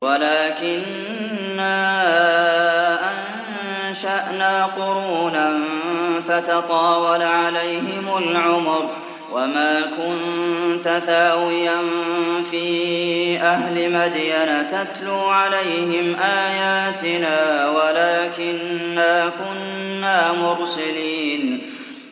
وَلَٰكِنَّا أَنشَأْنَا قُرُونًا فَتَطَاوَلَ عَلَيْهِمُ الْعُمُرُ ۚ وَمَا كُنتَ ثَاوِيًا فِي أَهْلِ مَدْيَنَ تَتْلُو عَلَيْهِمْ آيَاتِنَا وَلَٰكِنَّا كُنَّا مُرْسِلِينَ